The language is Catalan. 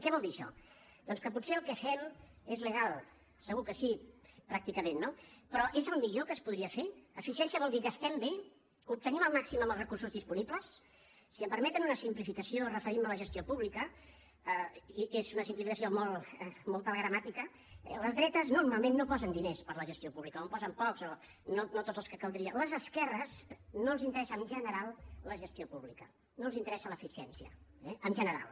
què vol dir això doncs que potser el que fem és legal segur que sí pràcticament no però és el millor que es podria fer eficiència vol dir gastem bé obtenim el màxim amb els recursos disponibles si em permeten una simplificació referint me a la gestió pública i és una simplificació molt telegramàtica les dretes normalment no posen diners per a la gestió pública o en posen pocs o no tots els que caldria les esquerres no els interessa en general la gestió pública no els interessa l’eficiència eh en general